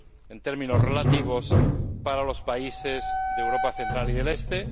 en términos relativos, para los países de Europa central y oriental.